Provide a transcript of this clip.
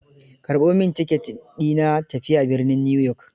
Karɓo min ticket di na tafiya birnin Newyork.